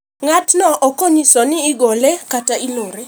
Ng'at no okonyise ni igole kata ilorone.